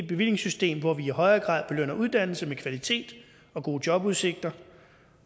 bevillingssystem hvor vi i højere grad belønner uddannelse med kvalitet og gode jobudsigter